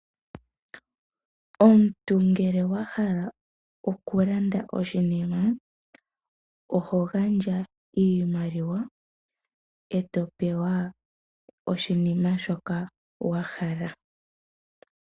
Omuntu ngele wa hala okulanda oshinima oho gandja iimaliwa e to pewa oshinima shoka wa hala.